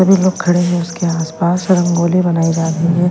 सभी लोग खड़े हैं उसके आसपास रंगोली बनाई जा रही है। --